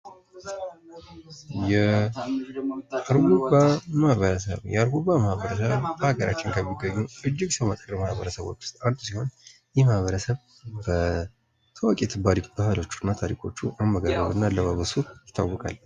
የአርጎባ ማህበረሰብ የአርጎባ ማህበረሰብ በሀገራችን ከሚገኙ እጅግ በታዋቂ ባህሎችና ታሪኮቹ አመጋገቡና አለባበሱ ይታወቃል።